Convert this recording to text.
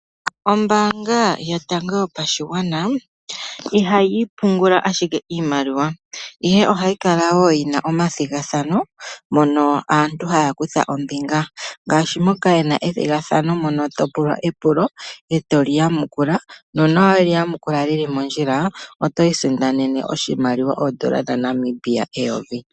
Ombaanga yotango yopashigwana ihayi pungula ashike iimaliwa, ihe ohayi kala wo yi na omathigathano moka aantu haya kutha ombinga, ngaashi moka ye na ethigathano mono to pula epulo e to li yamukula. Uuna we li yamukula mondjila oto isindanene oshimaliwa sha N$ 1000.